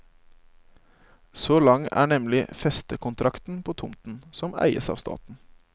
Så lang er nemlig festekontrakten på tomten, som eies av staten.